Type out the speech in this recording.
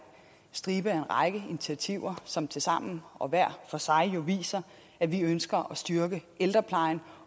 initiativer som tilsammen og hver for sig jo viser at vi ønsker at styrke ældreplejen